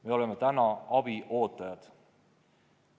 Me oleme abi ootajad.